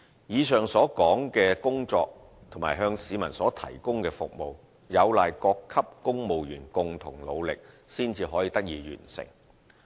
以上所述的工作及向市民提供的服務，有賴各級公務員共同努力才得以完成。